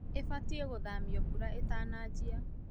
ĩbaitie gũthamio mbura ĩtanajia.